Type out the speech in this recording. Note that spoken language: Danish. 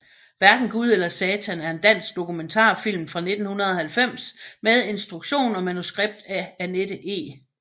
Hverken Gud eller Satan er en dansk dokumentarfilm fra 1990 med instruktion og manuskript af Anette E